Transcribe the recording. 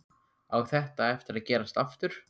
Á þetta eftir að gerast aftur?